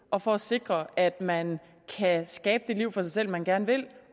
og for at sikre at man kan skabe det liv for sig selv man gerne vil